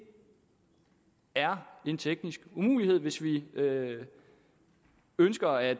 er en teknisk umulighed hvis vi ønsker at